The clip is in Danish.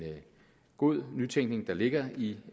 god nytænkning der ligger i